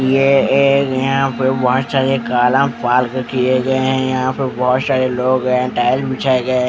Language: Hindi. ये एक यहाँ पर बहुत सारे कारा पार्क कीये गए है यहाँ पे बहुत सारे लोंग है टाइल बिछाए गए है ।